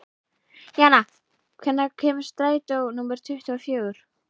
Jana, hvenær kemur strætó númer tuttugu og fjögur?